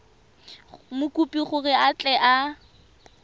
mokopi gore a tle a